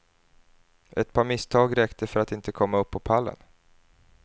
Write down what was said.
Ett par misstag räckte för att inte komma upp på pallen.